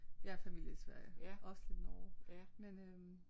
Jeg har familie i Sverige også lidt Norge men øh